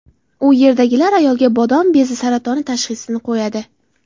U yerdagilar ayolga bodom bezi saratoni tashxisini qo‘yadi.